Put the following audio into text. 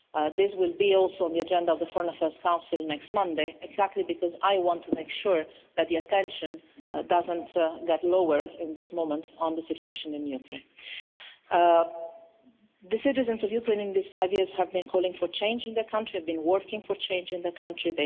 This will also be on the agenda of the Foreign Affairs Council next Monday, exactly because I want to make sure that the attention does not get lower at this moment on the situation in Ukraine. The citizens of Ukraine in these five years have been calling for change in their country, they have been working for change in their country.